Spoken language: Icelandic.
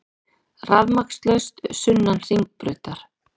Rafmagnslaust sunnan Hringbrautar